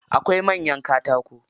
Akwai manyan katako.